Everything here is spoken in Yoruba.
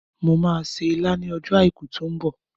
Mo máa se ilá ní ọjọ́ àìkú tí ó ń bọ̀